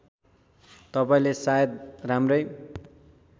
तपाईँले सायद राम्रै